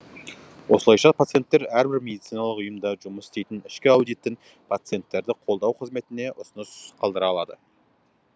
осылайша пациенттер әрбір медициналық ұйымда жұмыс істейтін ішкі аудиттің пациенттерді қолдау қызметіне ұсыныс қалдыра алады